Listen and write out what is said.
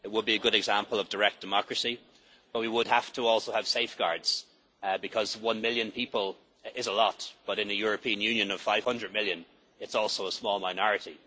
It would be a good example of direct democracy though we would also have to have safeguards because, while one million people is a lot, in the European Union of 500 million it is also a small minority.